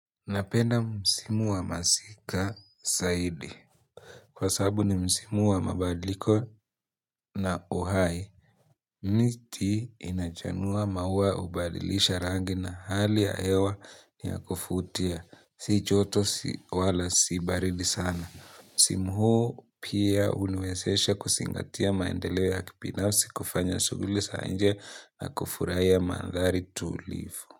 Napenda msimu wa masika zaidi. Kwa sababu ni msimu wa mabadiliko na uhai, miti inachanua maua hubadilisha rangi na hali ya hewa ni ya kuvutia. Si joto si wala si baridi sana. Msimu huo pia huniwezesha kuzingatia maendeleo ya kibinafsi kufanya shughuli za nje na kufurahia mandhari tulivu.